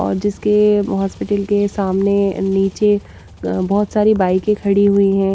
और जिसके हॉस्पिटल के सामने नीचे बहुत सारी बाइकें खड़ी हुई हैं।